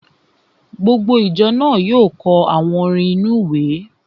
Gbogbo ìjọ náà yóò kọ àwọn orin inú-ìwé